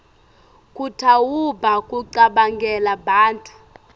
kutawuba kucabangela bantfu